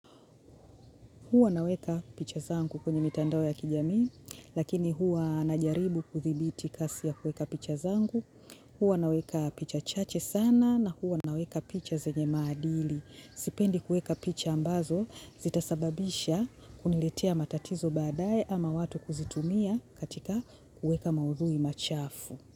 Huwa naweka picha zangu kwenye mitandao ya kijamii, lakini huwa najaribu kuthibiti kasi ya kuweka picha zangu, huwa naweka picha chache sana na huwa naweka picha zenye maadili. Sipendi kuweka picha ambazo zitasababisha kuniletea matatizo baadaye ama watu kuzitumia katika kuweka maudhui machafu.